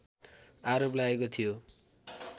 आरोप लागेको थियो